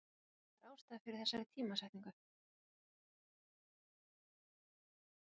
Er einhver ástæða fyrir þessari tímasetningu?